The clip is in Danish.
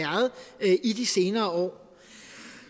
i de senere år